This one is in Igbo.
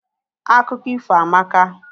Akụkọ ifo amaka.